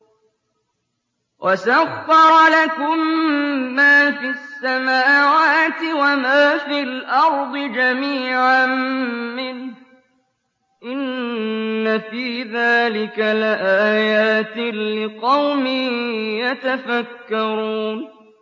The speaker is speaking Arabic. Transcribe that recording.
وَسَخَّرَ لَكُم مَّا فِي السَّمَاوَاتِ وَمَا فِي الْأَرْضِ جَمِيعًا مِّنْهُ ۚ إِنَّ فِي ذَٰلِكَ لَآيَاتٍ لِّقَوْمٍ يَتَفَكَّرُونَ